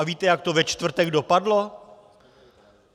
A víte, jak to ve čtvrtek dopadlo?